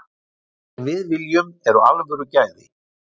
Það sem við viljum eru alvöru gæði.